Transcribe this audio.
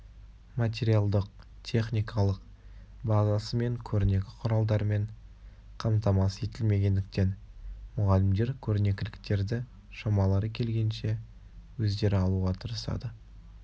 материалдық техникалық базасы мен көрнекі құралдармен қамтамасыз етілмегендіктен мұғалімдер көрнекіліктерді шамалары келгенше өздері алуға тырысады